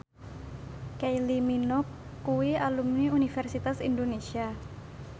Kylie Minogue kuwi alumni Universitas Indonesia